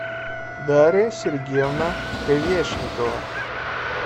дарья сергеевна квешникова